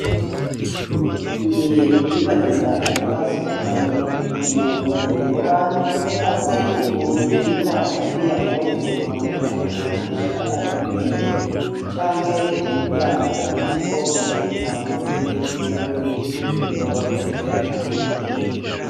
Ngiye kubibariza akabazo kamwe. Umuntu yoba azi ukuntu bita ziriya mpuzu bamanika ku madirisha ariko ibiyo canke ku miryango uko bazita mu rurimi rw'Ikirundi yoba akoze abimbwire.